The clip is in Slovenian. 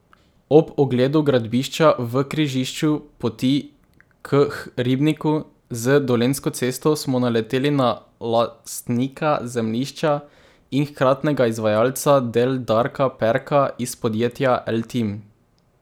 Ob ogledu gradbišča v križišču Poti k ribniku z Dolenjsko cesto smo naleteli na lastnika zemljišča in hkratnega izvajalca del Darka Perka iz podjetja Eltim.